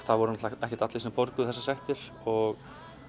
það voru náttúrulega ekki allir sem borguðu þessar sektir og